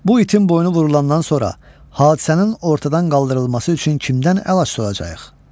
Bu itin boynu vurulandan sonra hadisənin ortadan qaldırılması üçün kimdən əl açacağıq?